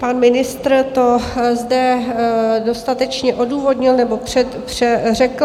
Pan ministr to zde dostatečně odůvodnil, nebo řekl.